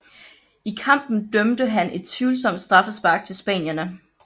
I kampen dømte han et tvivlsomt straffespark til spanierne